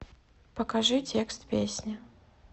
покажи текст песни